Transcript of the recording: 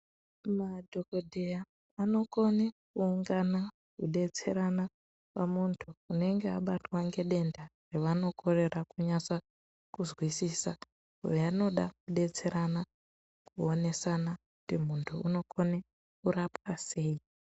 Madhokodheya anokone kuungana, kudetserana pamunhu unonga abatwa nedenda ravanokorera kunase kunzwisisa vanoda kudetserana, kuonesana kuti munhu orapwa sei.